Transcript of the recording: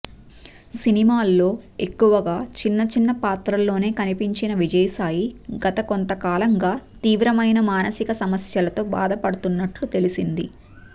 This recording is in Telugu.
సినిమాల్లో ఎక్కువగా చిన్న చిన్న పాత్రల్లోనే కనిపించిన విజయసాయి గత కొంతకాలంగా తీవ్రమైన మానసిక సమస్యలతో బాధపడుతున్నట్లు తెలిసింది